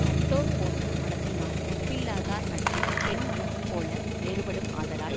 நட்டோர் போன்று மனத்தினான் நட்பில்லாதார் நட்பு பெண் மனம்போல வேறுபடும் ஆதலால்